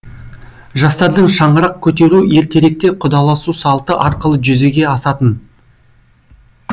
жастардың шаңырақ көтеруі ертеректе құдаласу салты арқылы жүзеге асатын